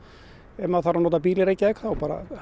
ef maður þarf að nota bíl í Reykjavík er